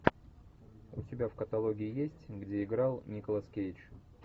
у тебя в каталоге есть где играл николас кейдж